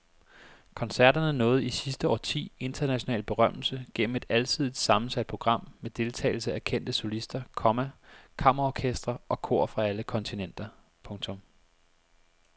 Koncerterne nåede i sidste årti international berømmelse gennem et alsidigt sammensat program med deltagelse af kendte solister, komma kammerorkestre og kor fra alle kontinenter. punktum